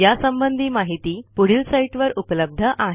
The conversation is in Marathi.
यासंबंधी माहिती पुढील साईटवर उपलब्ध आहे